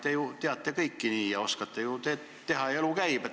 Te ju teate kõike nagunii ja oskate teha ning elu käib.